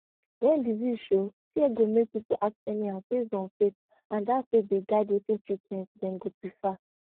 when disease show fear go make people act anyhow based on faith and na that faith dey guide wetin treatment dem go prefer